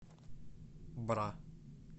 бра